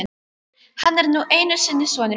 Hann er nú einu sinni sonur minn.